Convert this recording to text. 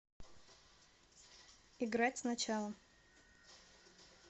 играть сначала